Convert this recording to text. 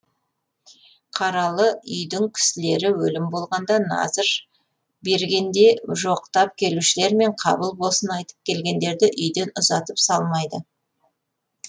қаралы үйдің кісілері өлім болғанда назыр бергенде жоқтап келушілер мен қабыл болсын айтып келгендерді үйден ұзатып салмайды